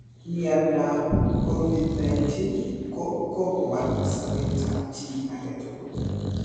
Covid-19 ko kogowal sobetab chi agetugul.